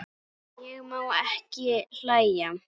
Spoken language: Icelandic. Ég má ekki hlæja.